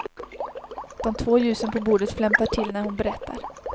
De två ljusen på bordet flämtar till när hon berättar.